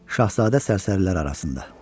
Şahzadə sərsərilər arasında.